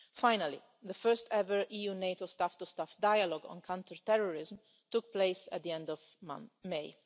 Finally, the first ever EU-NATO staff to staff dialogue on counterterrorism took place at the end of May.